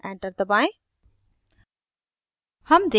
enter दबाएं